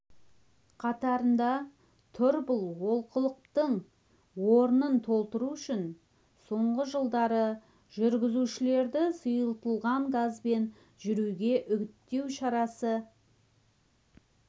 қатарында тұр бұл олқылықтың орнын толтыру үшін соңғы жылдары жүргізушілерді сұйытылған газбен жүруге үгіттеу шарасы